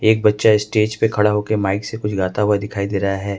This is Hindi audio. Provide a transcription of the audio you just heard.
एक बच्चा स्टेज पे खड़ा होकर माइक से कुछ गाता हुआ दिखाई दे रहा है।